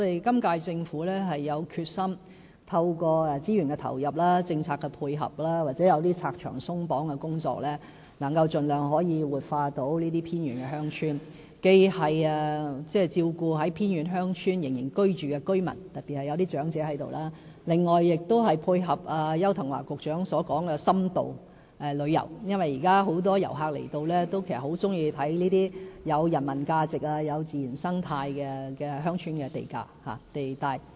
今屆政府有決心透過資源投入，政策的配合或進行一些拆牆鬆綁的工作，以能夠盡量活化這些偏遠鄉村，既照顧仍居住在偏遠鄉村的居民，特別是一些長者，另外亦配合邱騰華局長所說的深度旅遊，因為現時很多訪港遊客其實很喜歡遊覽這些富人文價值和自然生態價值的鄉村地帶。